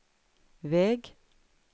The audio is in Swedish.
väg